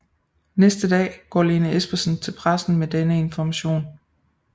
Næste dag går Lene Espersen til pressen med denne information